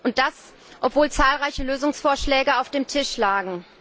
Und das, obwohl zahlreiche Lösungsvorschläge auf dem Tisch lagen.